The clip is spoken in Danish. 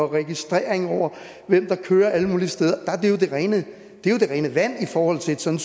registrering af hvem der kører alle mulige alle steder er jo det rene vand i forhold til sådan